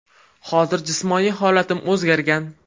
Hozir jismoniy holatim o‘zgargan.